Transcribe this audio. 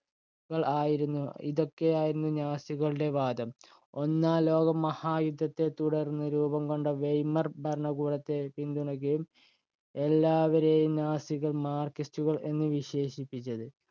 ആയിരുന്നു. ഇതൊക്കെയായിരുന്നു നാസികളുടെ വാദം. ഒന്നാംലോകമഹായുദ്ധത്തെത്തുടർന്ന് രൂപംകൊണ്ട വെയ്മർ ഭരണകൂടത്തെ പിന്തുണയ്ക്കുകയും, എല്ലാവരെയും നാസികൾ marxist ഉകള്‍ എന്നു വിശേഷിപ്പിച്ചത്.